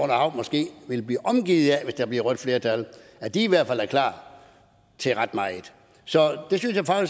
hav måske vil blive omgivet af hvis der bliver rødt flertal at de i hvert fald er klar til ret meget så